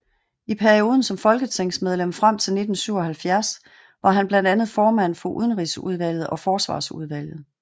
I perioden som folketingsmedlem frem til 1977 var han blandt andet formand for Udenrigsudvalget og Forsvarsudvalget